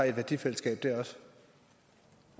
et værdifællesskab når